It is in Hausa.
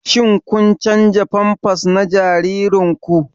Shin kun canza pampers na jaririnku?